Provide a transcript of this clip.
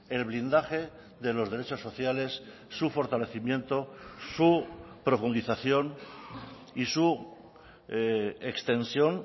el blindaje de los derechos sociales su fortalecimiento su profundización y su extensión